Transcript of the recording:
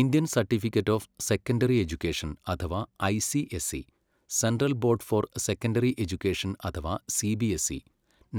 Indian certificate of secondary education അഥവാ ICSE, central board for secondary education അഥവാ CBSE,